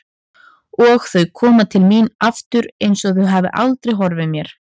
Og þau koma til mín aftur einsog þau hafi aldrei horfið mér.